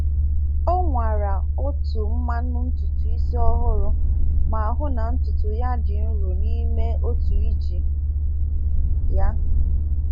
O nwara otu mmanu ntutu isi ọhụrụ ma hụụ na ntutu ya dị nro n’ime otu iji ya.